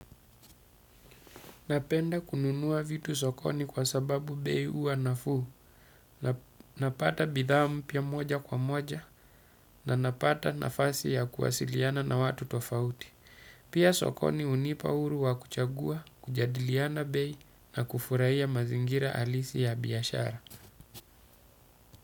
Napenda kununua vitu sokoni kwa sababu bei uwa nafuu, napata bidhaa mpya moja kwa moja na napata nafasi ya kuwasiliana na watu tofauti. Pia sokoni unipa uru wa kuchagua, kujadiliana bei na kufurahia mazingira alisi ya biashara.